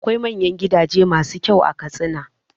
Akwai manyan gidaje masu kyau a Katsina.